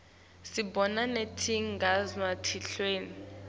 sibona netingzaba telive